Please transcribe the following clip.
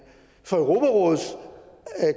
for europarådets